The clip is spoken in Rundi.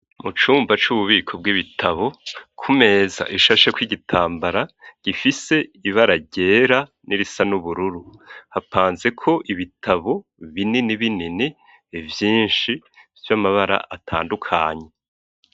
Mucumba c'ububiko bw'ibitabo ku meza ishashe kw'igitambara gifise ibara ryera n'irisa n'ubururu hapanze ko ibitabo binini binini vyinshi by'amabara atandukanye.